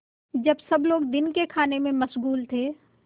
जब सब लोग दिन के खाने में मशगूल थे